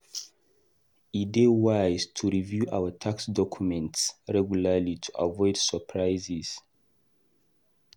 E dey wise to review our tax documents regularly to avoid surprises.